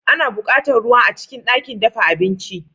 Ana buƙatar ruwa a cikin ɗakin dafa abinci.